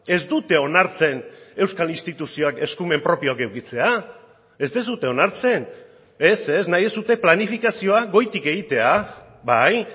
ez dute onartzen euskal instituzioak eskumen propioak edukitzea ez duzue onartzen ez ez nahi duzue planifikazioa goitik egitea bai